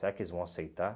Será que eles vão aceitar?